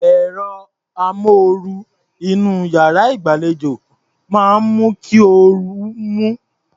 Ẹ̀rọ amóoru inú iyàrá ìgbàlejò máa ń mú kí orú mú.